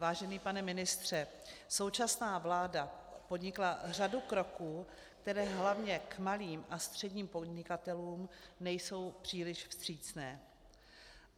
Vážený pane ministře, současná vláda podnikla řadu kroků, které hlavně k malým a středním podnikatelům nejsou příliš vstřícné.